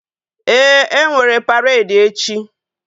Ee, enwere paredi echi